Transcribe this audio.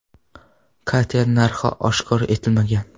Kater narxi oshkor etilmagan.